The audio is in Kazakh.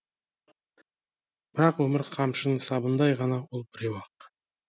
бірақ өмір қамшының сабындай ғана ол біреу ақ